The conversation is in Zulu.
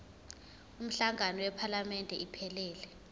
umhlangano wephalamende iphelele